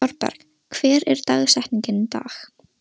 Thorberg, hver er dagsetningin í dag?